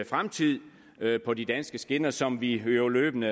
fremtid på de danske skinner som vi jo løbende